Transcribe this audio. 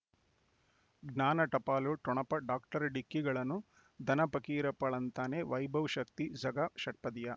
ಜ್ಞಾನ ಟಪಾಲು ಠೊಣಪ ಡಾಕ್ಟರ್ ಢಿಕ್ಕಿ ಣಗಳನು ಧನ ಫಕೀರಪ್ಪ ಳಂತಾನೆ ವೈಭವ್ ಶಕ್ತಿ ಝಗಾ ಷಟ್ಪದಿಯ